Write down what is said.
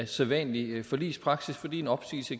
sædvanlig forligspraksis fordi en opsigelse